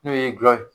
N'o ye gulɔ ye